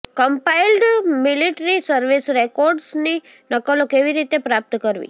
compiled military service રેકોર્ડ્સની નકલો કેવી રીતે પ્રાપ્ત કરવી